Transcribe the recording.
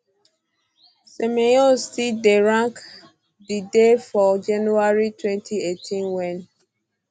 semenyo still dey rank di day for um january 2018 wen